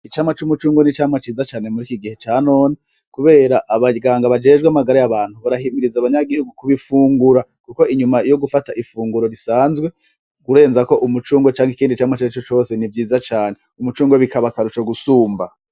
Icamwa c'umucungwe n'icamwa ciza cane muri kigihe ca none kubera abaganga bajejwe amagara yabantu barahimiriza abanyagihugu kubifungura kuko inyuma yo gufata ifunguro risanzwe urenzako umucungwe canke ikindi camwa carico cose ni vyiza cane umucungwe bikaba akarusho gusumba.